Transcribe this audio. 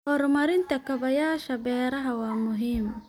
Horumarinta kaabayaasha beeraha waa muhiim.